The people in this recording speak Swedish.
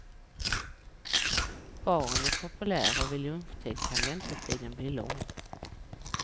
Baren är populär och vid lunchtid kan väntetiden bli lång.